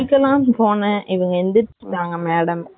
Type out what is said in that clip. நான் குளிக்கலன்னு போனன் இவங்க எழுதிரிச்சிட்டாங்க madam .